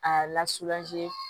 A lasunɔgɔli